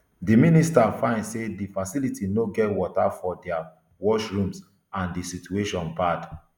di minister find say di facility no get water for dia washrooms and di situation bad